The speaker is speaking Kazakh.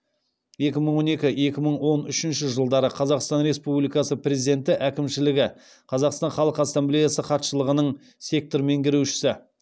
екі мың он екі екі мың он үшінші жылдары қазақстан республикасы президенті әкімшілігі қазақстан халық ассамблеясы хатшылығының сектор меңгерушісі